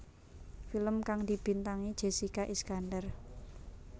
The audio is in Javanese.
Film kang dibintangi Jessica Iskandar